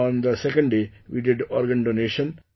On the second day we did organ donation